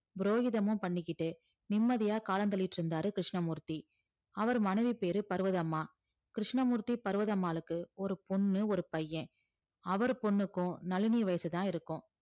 புரோகிதமும் பண்ணிக்கிட்டு நிம்மதியா காலம் தள்ளிட்டு இருந்தாரு கிருஷ்ணமூர்த்தி அவர் மனைவி பேரு பர்வதம்மா கிருஷ்ணமூர்த்தி பர்வதம்மாளுக்கு ஒரு பொண்ணு ஒரு பையன் அவர் பொண்ணுக்கும் நளினி வயசுதான் இருக்கும்